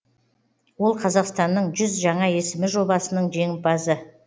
ол қазақстанның жүз жаңа есімі жобасының жеңімпазы